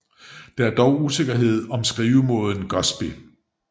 Der er dog usikkerhed om skrivemåden Gosby